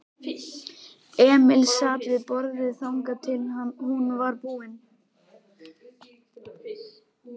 Emil sat við borðið þangað til hún var búin.